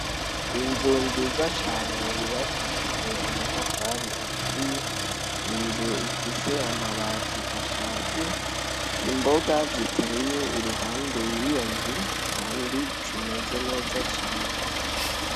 Inzu nziza cane yubakishijwe amatafari aturiye, inzu ifise amabati ashaje, imboga ziteye iruhande yiyo nzu kandi zimeze neza cane.